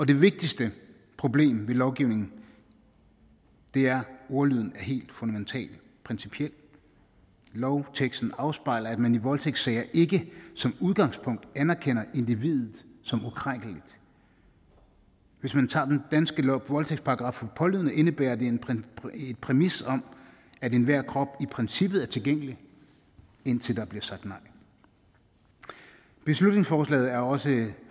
det vigtigste problem med lovgivningen er at ordlyden er helt fundamental principiel lovteksten afspejler at man i voldtægtssager ikke som udgangspunkt anerkender individet som ukrænkeligt hvis man tager den danske voldtægtsparagraf for pålydende indebærer den en præmis om at enhver krop i princippet er tilgængelig indtil der bliver sagt nej beslutningsforslaget er også